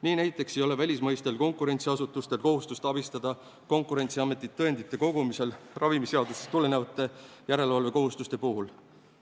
Nii näiteks ei ole välismaistel konkurentsiasutustel kohustust abistada Konkurentsiametit tõendite kogumisel ravimiseadusest tulenevate järelevalvekohustuste puhul.